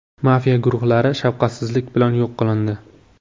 Mafiya guruhlari shafqatsizlik bilan yo‘q qilindi.